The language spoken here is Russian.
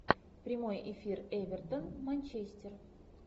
прямой эфир эвертон манчестер